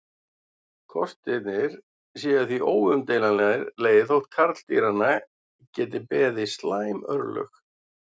Kostirnir séu því óumdeilanlegir þótt karldýranna geti beði slæm örlög.